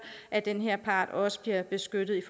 at den her part også blive beskyttet